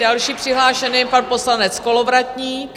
Další přihlášený je pan poslanec Kolovratník.